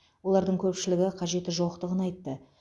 олардың көпшілігі қажеті жоқтығын айтты